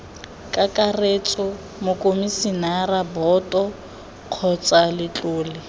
kakaretso mokomisinara boto kgotsa letlole